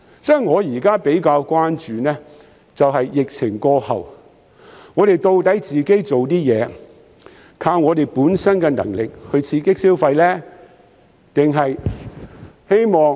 所以，我現時比較關注的是疫情過後，我們做的東西、本身的能力能否刺激消費。